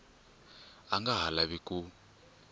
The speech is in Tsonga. a nga ha lavi ku